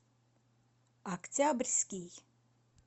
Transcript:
октябрьский